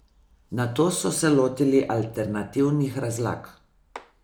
Nato so se lotili alternativnih razlag.